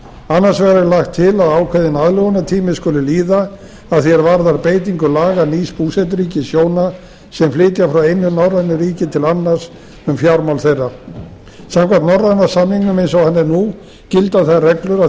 annars vegar er lagt til að ákveðinn aðlögunartími skuli líða að því er varðar beitingu laga nýs búseturíkis hjóna sem flytja frá einu norrænu ríki til annars um fjármál þeirra samkvæmt norræna samningnum eins og hann er nú gilda þær reglur að